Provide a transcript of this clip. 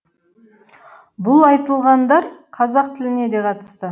бұл айтылғандар қазақ тіліне де қатысты